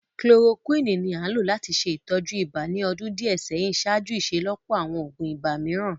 kilorokuini ni a n lo lati ṣe itọju iba ni ọdun diẹ sẹhin ṣaaju iṣelọpọ awọn oogun ibà miiran.